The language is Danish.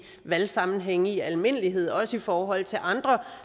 valgsammenhænge i almindelighed også i forhold til andre